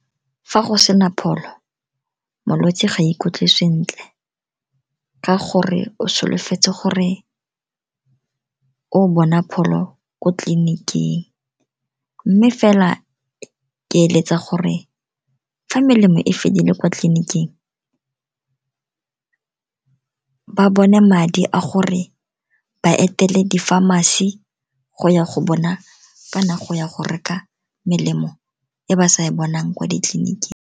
Fa go sena pholo, molwetse ga ikutlwe sentle, ka gore o solofetse gore o bona pholo kwa tleliniking. Mme fela ke eletsa gore ga melemo e fedile kwa tleliniking, ba bone madi a gore ba etele di-pharmacy go ya go bona ka nako ya go reka melemo e ba sa bonang kwa ditleliniking.